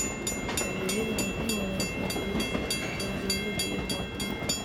Adeegyadani waxay wanaajiyaan xidhiidhka ka dhexeeya dawladda iyo muwaadiniinta.